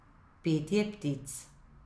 Petje ptic.